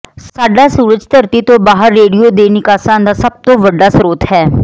ਸਾਡਾ ਸੂਰਜ ਧਰਤੀ ਤੋਂ ਬਾਹਰ ਰੇਡੀਓ ਦੇ ਨਿਕਾਸਾਂ ਦਾ ਸਭ ਤੋਂ ਵੱਡਾ ਸਰੋਤ ਹੈ